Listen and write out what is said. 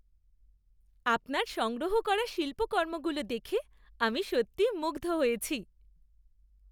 আপনার সংগ্রহ করা শিল্পকর্মগুলো দেখে আমি সত্যিই মুগ্ধ হয়েছি।